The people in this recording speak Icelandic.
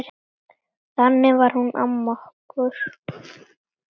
Þannig var hún amma okkur.